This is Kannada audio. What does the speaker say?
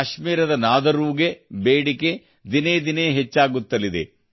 ಕಾಶ್ಮೀರದ ನಾದರೂಗೆ ಬೇಡಿಕೆ ದಿನೇ ದಿನೇ ಹೆಚ್ಚಾಗುತ್ತಲಿದೆ